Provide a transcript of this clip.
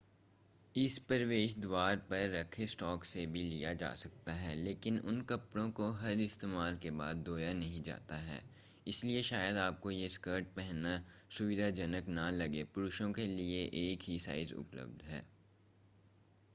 इसे प्रवेश द्वार पर रखे स्टॉक से भी लिया जा सकता है लेकिन उन कपड़ों को हर इस्तेमाल के बाद धोया नहीं जाता है इसलिए शायद आपको ये स्कर्ट पहनना सुविधाजनक न लगे पुरुषों के लिए एक ही साइज़ उपलब्ध है